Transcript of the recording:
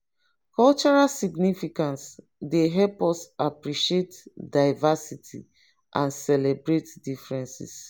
cultural significance dey help us appreciate diversity and celebrate differences.